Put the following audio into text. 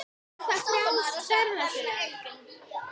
Er það frjálst ferða sinna?